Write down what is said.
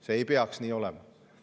See ei peaks nii olema.